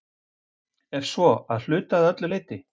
Ef svo, að hluta eða öllu leyti?